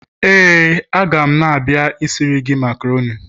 Éè, a ga m na-abia isiri gi macaroni.